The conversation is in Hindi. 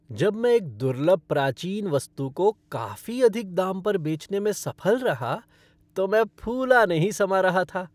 जब मैं एक दुर्लभ प्राचीन वस्तु को काफी अधिक दाम पर बेचने में सफल रहा तो मैं फूला नहीं समा रहा था।